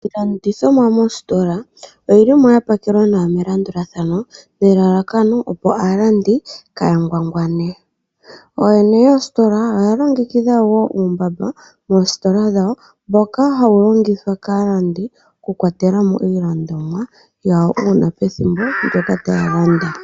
Iilandithomwa moositola oyili mo ya pakelwa nawa melandulathano, nelalakano opo aalandi kaya ngwangwane. Ooyene yoositola oya longekidha wo uumbamba moositola dhawo, mboka hawu longithwa kaalandi okukwatela mo iilandomwa yawo, una pethimbo ndyoka taya landa.